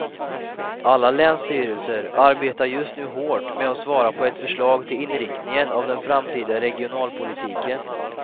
Alla länsstyrelser arbetar just nu hårt med att svara på ett förslag till inriktningen av den framtida regionalpolitiken.